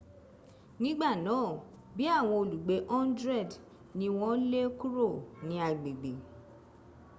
nigba naa bii awon olugbe 100 ni won le kuro ni agbegbe